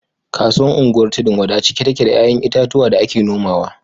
Kasuwar unguwar tudun-wada cike take da ‘ya’yan itatuwa da ake nomawa